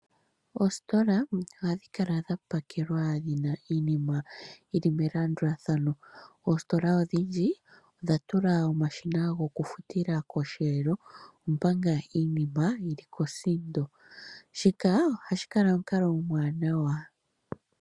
Oositola ohadhi kala dha pakelwa dhi na iinima yi li melandulathano. Odhindji odha tula omashina goku futila kosheelo omanga iinima yili kosindo. Shika ohashi kala omukalo omwaanawa go ku keelela aafuthi.